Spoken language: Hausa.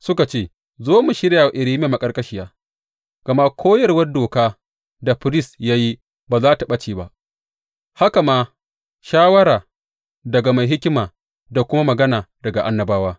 Suka ce, Zo mu shirya wa Irmiya maƙarƙashiya; gama koyarwar doka da firist ya yi ba za tă ɓace ba, haka ma shawara daga mai hikima da kuma magana daga annabawa.